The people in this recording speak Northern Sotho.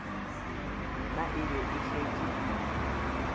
yona e be e šetše